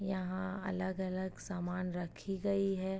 यहाँ अलग-अलग सामान रखी गयी है।